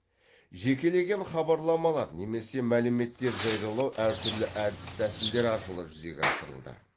жекелеген хабарламалар немесе мәліметтер жариялау әр түрлі әдіс тәсілдер арқылы жүзеге асырылды